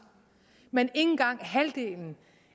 men ikke engang halvdelen